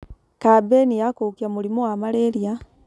Kambĩini ya kũhukia mũrimũ wa Marĩria